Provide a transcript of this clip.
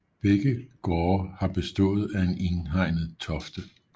Begge gårde har bestået af en indhegnet tofte